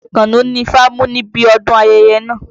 Àkànó ni ifá mú níbi ọdún ayẹyẹ náà.